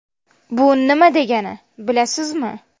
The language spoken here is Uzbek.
Bu nima degani, bilasizmi?